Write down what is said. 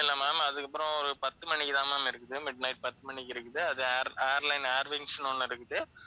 இல்லை ma'am அதுக்கப்புறம் ஒரு பத்து மணிக்குதான் ma'am இருக்குது midnight பத்து மணிக்கு இருக்குது அது ஏர்~ ஏர்லைன் ஏர்விங்ஸ்ன்னு ஒண்ணு இருக்குது.